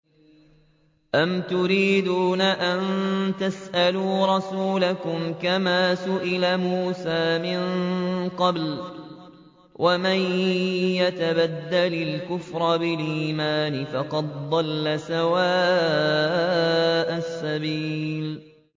أَمْ تُرِيدُونَ أَن تَسْأَلُوا رَسُولَكُمْ كَمَا سُئِلَ مُوسَىٰ مِن قَبْلُ ۗ وَمَن يَتَبَدَّلِ الْكُفْرَ بِالْإِيمَانِ فَقَدْ ضَلَّ سَوَاءَ السَّبِيلِ